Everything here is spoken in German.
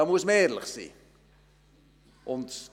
Da muss man ehrlich sein.